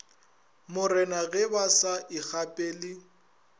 morena ge ba sa ikgapele